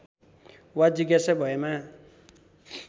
वा जिज्ञासा भएमा